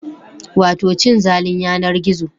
Wato cin zalin yanar gizo